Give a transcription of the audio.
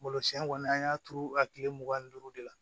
Malo siɲɛ kɔni an y'a turu a tile mugan ni duuru de la